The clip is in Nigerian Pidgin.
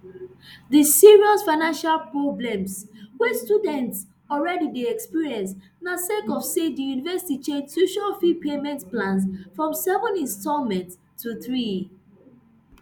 dis serious financial problems wey students already dey experience na sake of say di university change tuition fee payment plans from seven instalments to three